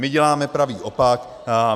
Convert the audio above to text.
My děláme pravý opak.